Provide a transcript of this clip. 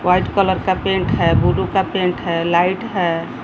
White colour का paint है blue का पेंट है लाइट है।